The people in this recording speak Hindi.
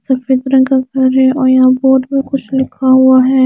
सफ़ेद रंग का घर है और यहाँ बोर्ड में कुछ लिखा हुआ है।